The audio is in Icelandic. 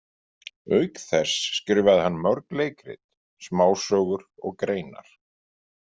Auk þess skrifaði hann mörg leikrit, smásögur og greinar.